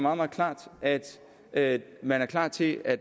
at at man er klar til at